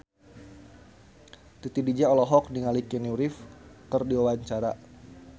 Titi DJ olohok ningali Keanu Reeves keur diwawancara